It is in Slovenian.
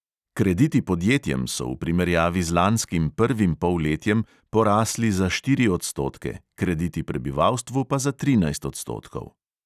Krediti podjetjem so v primerjavi z lanskim prvim polletjem porasli za štiri odstotke, krediti prebivalstvu pa za trinajst odstotkov.